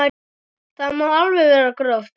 Það má alveg vera gróft.